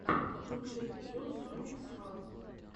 лучший эпизод сониксфан